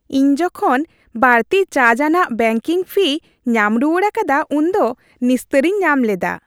ᱤᱧ ᱡᱚᱠᱷᱚᱱ ᱵᱟᱹᱲᱛᱤ ᱪᱟᱨᱡᱽᱼᱟᱱᱟᱜ ᱵᱮᱝᱠᱤᱝ ᱯᱷᱤ ᱧᱟᱢ ᱨᱩᱣᱟᱹᱲ ᱟᱠᱟᱫᱟ ᱩᱱᱫᱚ ᱱᱤᱥᱛᱟᱹᱨᱤᱧ ᱧᱟᱢ ᱞᱮᱫᱟ ᱾